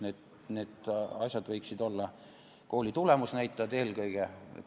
Need võiksid olla eelkõige kooli tulemusnäitajad.